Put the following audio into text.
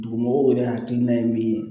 Dugumɔgɔw yɛrɛ hakilina ye min ye